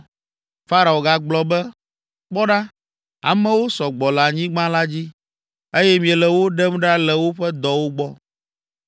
Farao gagblɔ be, “Kpɔ ɖa, amewo sɔ gbɔ le anyigba la dzi, eye miele wo ɖem ɖa le woƒe dɔwo gbɔ.”